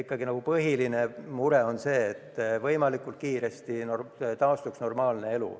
Nii et põhiline mure on ikkagi see, et võimalikult kiiresti taastuks normaalne elu.